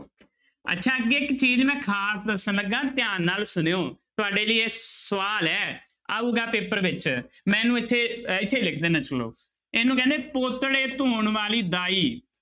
ਅੱਛਾ ਅੱਗੇ ਇੱਕ ਚੀਜ਼ ਮੈਂ ਖ਼ਾਸ ਦੱਸਣ ਲੱਗਾਂ ਧਿਆਨ ਨਾਲ ਸੁਣਿਓ, ਤੁਹਾਡੇ ਲਈ ਇਹ ਸਵਾਲ ਹੈ ਆਊਗਾ ਪੇਪਰ ਵਿੱਚ ਮੈਂ ਇਹਨੂੰ ਇੱਥੇ ਇੱਥੇ ਲਿਖ ਦਿਨਾ ਸੁਣੋ ਇਹਨੂੰ ਕਹਿੰਦੇ ਪੋਤੜੇ ਧੋਣ ਵਾਲੀ ਦਾਈ।